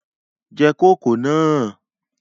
Je kòkó náà!